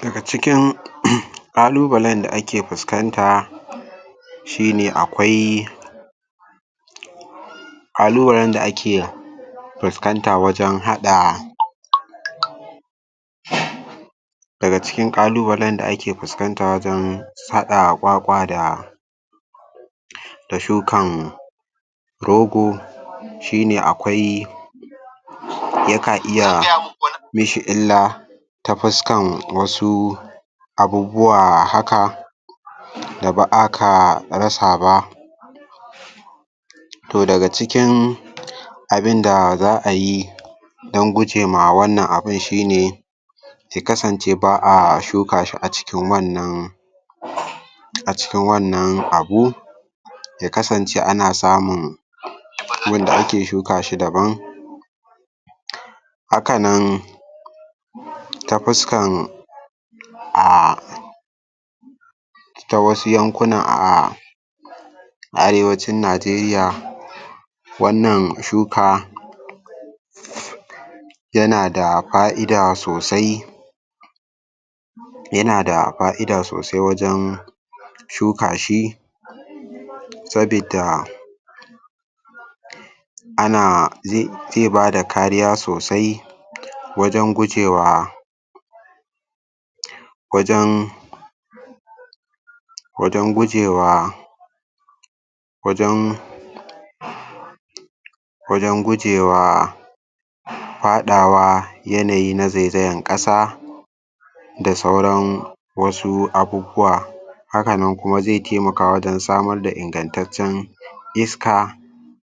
Daga cikin um ƙalubalen da ake fuskanta shi ne akwai ƙalubalen da ake fuskanta wajen haɗa daga cikin ƙalubalen da ake fuskanta wajen haɗa ƙwaƙwa da um da shukan rogo shi ne akwai ya ka iya mishi illa ta fuskan wasu abubbuwa haka da ba'a ka rasa ba toh daga cikin abinda za'a yi dan gujema wannan abin shi ne su kasance ba'a shuka shi a cikin wannan acikin wannan abu ya kasance ana samun gun da ake shuka shi daban haka nan ta fuskan a ta wasu yankunan a arewacin najeriya wannan shuka yana da fa'ida sosai yana da fa'ida sosai wajen shuka shi sabida ana zai zai bada kariya sosai wajan gujewa wajan wajan gujewa wajan wajan gujewa faɗawa yanayi na zaizayan ƙasa da sauran wasu abubuwa haka nan kuma zai taimaka wajen samar da ingattaccen iska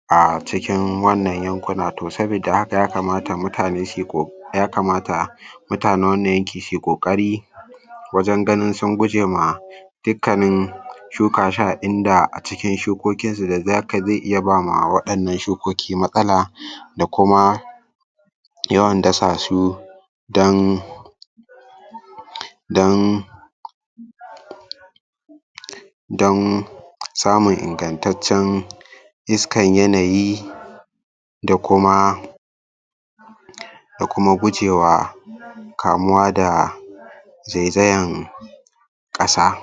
a cikin wannan yankuna, toh sabida haka ya kamata mutane suyi ƙoƙari ya kamata mutanen wannan yanki sui ƙoƙari wajan ganin sun guje ma dikkanin shuka shi a inda acikin shukokinsu da zaka zai iya bawa ma waɗannan shukoki matsala um da kuma yawan dasa su dan um dan dan samun ingattaccen iskan yanayi da kuma ko kuma gujewa kamuwa da zaizayan ƙasa